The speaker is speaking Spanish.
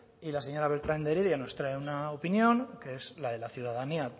y la señora beltran de heredia nos trae una opinión que es la de la ciudadanía